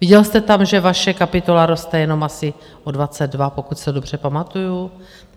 Viděl jste tam, že vaše kapitola roste jenom asi o 22, pokud se dobře pamatuju?